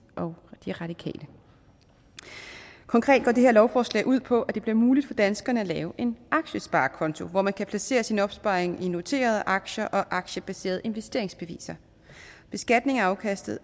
og de radikale konkret går det her lovforslag ud på at det bliver muligt for danskerne at lave en aktiesparekonto hvor man kan placere sin opsparing i noterede aktier og aktiebaserede investeringsbeviser beskatningen af afkastet